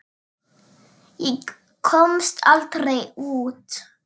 Ég komst aldrei út.